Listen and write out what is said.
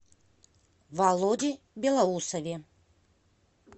володе белоусове